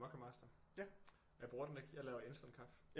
Moccamaster og jeg bruger den ikke jeg laver instant kaffe